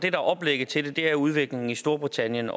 er oplægget til det er udviklingen i storbritannien